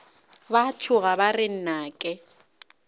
ba tšhoga ba re nnake